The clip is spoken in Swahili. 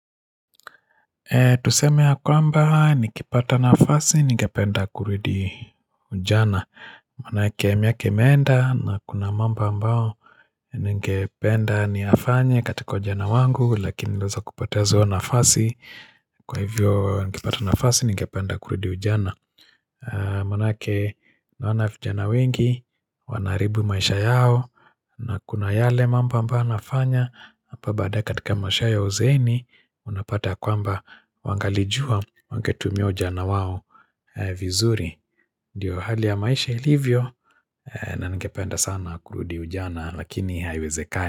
Tuseme ya kwamba nikipata nafasi ningependa kuridi ujana Manaake miaka imeenda na kuna mambo ambao Ningependa niyafanya katika ujana wangu lakini niliweza kupoteza nafasi. Kwa hivyo nikipata nafasi ningependa kuridi ujana Manaake naonafijana wengi, wanaharibu maisha yao na kuna yale mambo ambayo nafanya hapa baadaye katika maisha ya uzeeni unapata ya kwamba wangalijua wangetumia ujana wao vizuri diyo hali ya maisha ilivyo na ningependa sana kurudi ujana lakini haiwezekani.